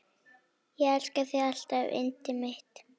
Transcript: Elska þig alltaf yndið mitt.